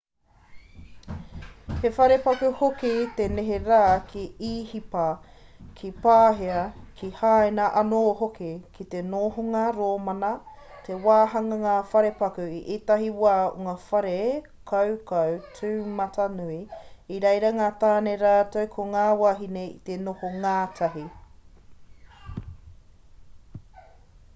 he wharepaku hoki i neherā ki īhipa ki pāhia ki haina anō hoki ki te nōhanga rōmana he wāhanga ngā wharepaku i ētahi wā o ngā whare kaukau tūmatanui i reira ngā tāne rātou ko ngā wāhine i te noho ngātahi